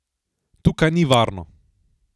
Tukaj ni varno!